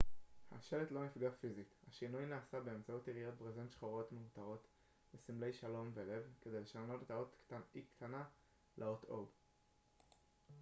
השלט לא נפגע פיזית השינוי נעשה באמצעות יריעות ברזנט שחורות מעוטרות בסמלי שלום ולב כדי לשנות את האות o לאות e קטנה